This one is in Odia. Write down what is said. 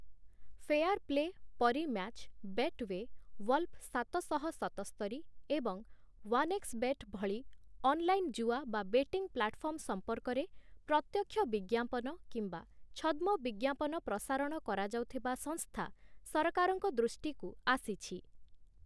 ଫେୟାରପ୍ଲେ , ପରୀମ୍ୟାଚ୍‌, ବେଟ୍‌ୱେ, ୱଲ୍ଫ ସାତଶହ ସତସ୍ତରି ଏବଂ ୱାନ୍‌ଏକ୍ସବେଟ୍ ଭଳି ଅନଲାଇନ୍‌ ଜୁଆ ବା ବେଟିଂ ପ୍ଲାଟଫର୍ମ ସମ୍ପର୍କରେ ପ୍ରତ୍ୟକ୍ଷ ବିଜ୍ଞାପନ କିମ୍ବା ଛଦ୍ମ ବିଜ୍ଞାପନ ପ୍ରସାରଣ କରାଯାଉଥିବା ସଂସ୍ଥା ସରକାରଙ୍କ ଦୃଷ୍ଟିକୁ ଆସିଛି ।